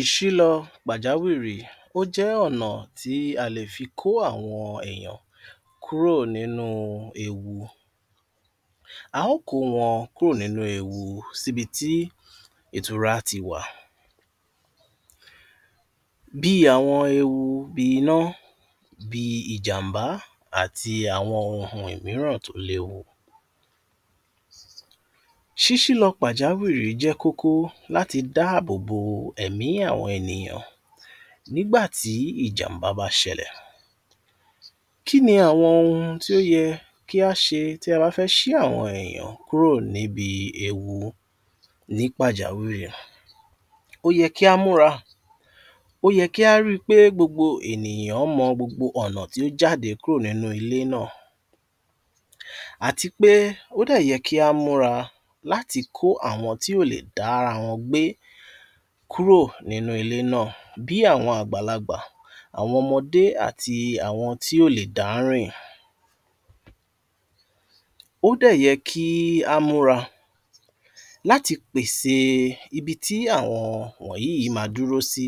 Ìsílò pàjàwìrì ó jẹ́ ọ̀nà tí a lè fi kó àwọn ènìyàn kúrò nínú ewu. A ó kó wọn kúrò nínú ewu síbi tí ìtùrá ti wà, bí àwọn ewu, bí iná, bí ìjànbá, àti àwọn ohun míìrán tó léwu. Sísílọ pàjàwìrì jẹ́ kókó láti dá àbòbọ ẹ̀mí àwọn ènìyàn nígbàtí ìjànbá bá ṣẹlẹ̀. Kí ni àwọn ohun tí ó yẹ kí a ṣe tí a bá fẹ́ síi àwọn ènìyàn kúrò níbi ewu ní pàjàwìrì? Ó yẹ kí a mura, ó yẹ kí a rí pé gbogbo ènìyàn mọ gbogbo ọ̀nà tí ó jáde kúrò nínú ilé náà àti pé òde yẹ kí a mura láti kó àwọn tí ó le dàra wọn gbé kúrò nínú ilé náà, bí àwọn àgbàlagbà, àwọn ọmọdé àti àwọn tí ó le dà rìn. Òde yẹ kí a mura láti pèsè ibi tí àwọn wọ̀nyí yìí máa dúró sí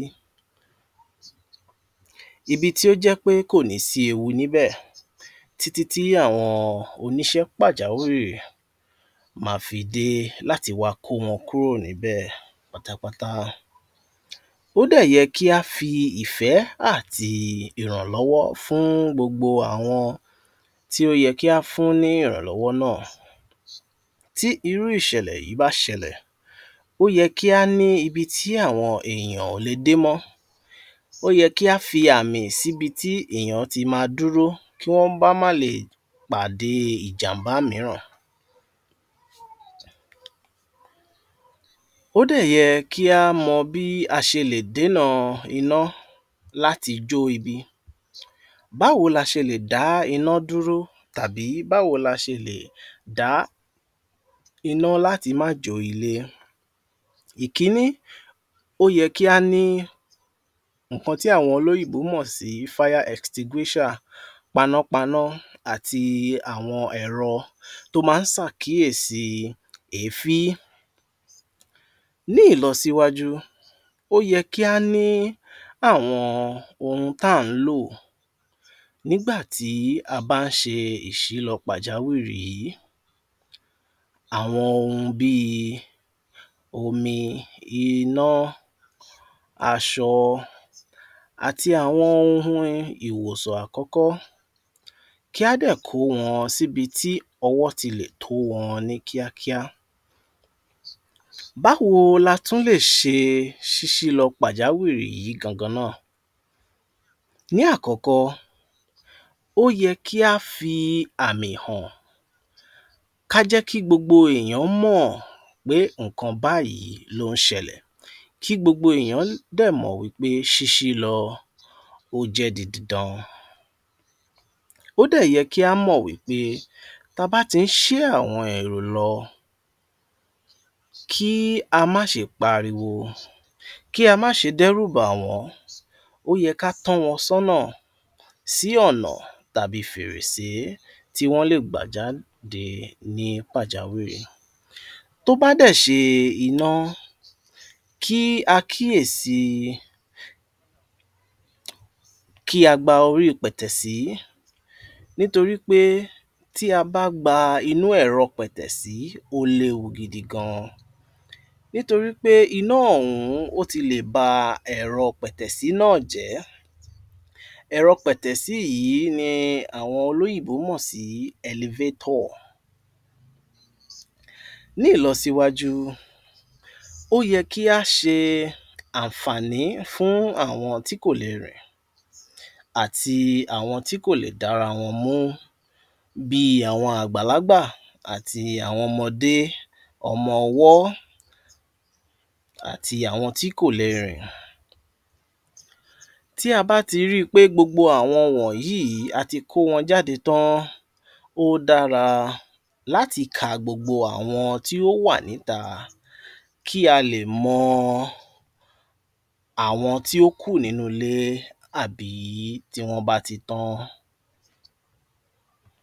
ibi tí ó jẹ́ pé kò ní sí ewu níbẹ̀ títí tí àwọn oníṣe pàjàwìrì máa fi dé láti wá kó wọn kúrò níbẹ̀ patapata. Òde yẹ kí a fi ìfẹ́ àti ìrànlọ́wọ́ fún gbogbo àwọn tí ó yẹ kí a fún ní ìrànlọ́wọ́ náà. Tí irú ìṣẹ̀lẹ̀ yìí bá ṣẹlẹ̀, ó yẹ kí a ní ibi tí àwọn ènìyàn ò lè dé mọ́. Ó yẹ kí a fi àmì sí bí ti ènìyàn tí máa dúró kí wọ́n bà á má bà á lè pàdé ìjànbá míìrán. Òde yẹ kí a mọ bí a ṣe lè dá iná dúró tàbí bí a ṣe lè dá iná láti má jó ilé. Ìkìní: ó yẹ kí a ní nǹkan tí àwọn ọlòyìbọ́ mọ̀ sí fire extinguisher, pànàpànà àti àwọn ẹ̀rọ tó máa ń sá kiri sí èéfín. Ní ìlòsíwájú, ó yẹ kí a ní àwọn ohun tá a ń lò nígbàtí a bá ń ṣe ìsílò pàjàwìrì yìí. Àwọn ohun bí omi iná, aṣọ àti àwọn ohun ìhòsórí àkọ́kọ́ kí a dé kó wọn sí bí ti ọwọ́ tí lè tó wọn ní kíkìá. Báwo là tún lè ṣe sísílọ pàjàwìrì yìí gangan náà? Ní àkọ́kọ́, ó yẹ kí a fi àmì hàn, ká jẹ́ kí gbogbo ènìyàn mọ́ pé nǹkan báyìí ló ń ṣẹlẹ̀, kí gbogbo ènìyàn dé mọ́ wípé sísílọ ò jẹ́ dídàn. Òde yẹ kí a mọ wípé tá a bá ti ń sí àwọn ẹ̀rò lọ, kí a má ṣe pàríwọ́, kí a má ṣe dẹ̀rùbọ̀ wọn. Ó yẹ ká tọ̀ wọn sánà sí ọ̀nà tàbí fèrè ṣe tí wọ́n lè gba jáde ní pàjàwìrì. Tó bá dé sí iná, kí a kì í ṣe, kí a gba orí pẹ̀tẹ́sì, nítorí pé tí a bá gba inú ẹ̀rọ pẹ̀tẹ́sì, ó léwu gíga. Nítorí pé iná òun ò tíì lè bà ẹ̀rọ pẹ̀tẹ́sì náà jẹ́. Ẹ̀rọ pẹ̀tẹ́sì yìí ni àwọn ọlòyìbọ́ mọ̀ sí elevator. Ní ìlòsíwájú, ó yẹ kí a ṣe àfàní fún àwọn tí kò lè rìn àti àwọn tí kò lè dàra wọn mú, bí àwọn àgbàlagbà àti àwọn ọmọdé, ọmọ ọwọ́ àti àwọn tí kò lè rìn. Tí a bá ti rí pé gbogbo àwọn wọ̀nyí àti kó wọn jáde tan, ó dàra láti kà gbogbo àwọn tí ó wà níta, kí a lè mọ àwọn tí ó kù nínú ilé, àbí tí wọ́n bá ti tan.